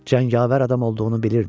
Cəngavər adam olduğunu bilirdi.